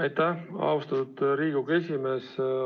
Aitäh, austatud Riigikogu esimees!